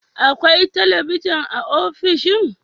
Akwai talabijin a ofishin?